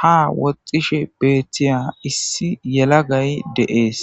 ha woxishe betiya issi yelagayi de,ees